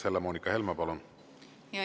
Helle-Moonika Helme, palun!